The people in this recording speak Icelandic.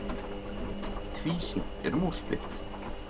Tvísýnt er um úrslit.